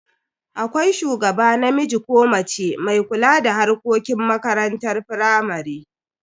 Akwai shugaba namiji ko mace mai kula da harkokin makarantar firamare.